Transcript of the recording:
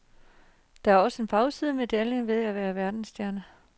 Der er også en bagside af medaljen ved at være verdensstjerne.